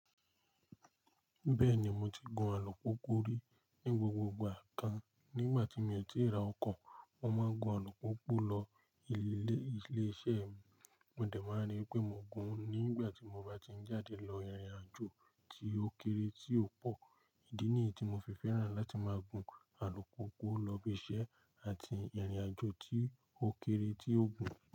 Bẹ́ẹ̀ni, mo ti gun alùpùpù rí ní gbogbo ìgbà kan. Nígbà tí mi ò tíì ra ọkọ̀, mo máa ń gun alùpùpù lọ ilé-iṣẹ́ mi. Mo de máa ń rí wipé mo gun nígbà tí mo bá ti ń jáde lọ ìrìnàjò tí ó kéré tí ó pọ̀. Ídì níyií tí mo fi fẹ́ràn láti máa gun alùpùpù lọ ibiṣẹ́ àti ìrìn-àjò tí ó kéré tí ó gùn.